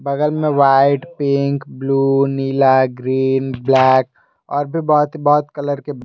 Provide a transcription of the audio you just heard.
बगल में white pink नीला ग्रीन ब्लैक और भी बहुत कलर ।